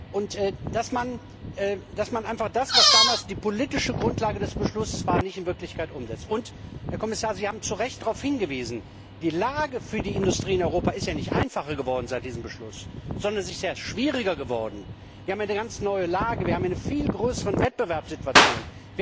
und darum, dass man einfach das, was damals die politische Grundlage des Beschlusses war, nicht in Wirklichkeit umsetzt. Herr Kommissar, Sie haben zu Recht darauf hingewiesen Die Lage für die Industrien in Europa ist ja nicht einfacher geworden seit diesem Beschluss, sondern sie ist schwieriger geworden. Wir haben eine ganz neue Lage, wir haben eine viel größere Wettbewerbssituation.